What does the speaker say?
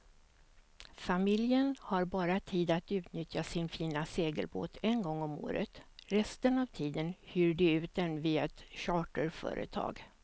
Familjen har bara tid att utnyttja sin fina segelbåt en gång om året, resten av tiden hyr de ut den via ett charterföretag.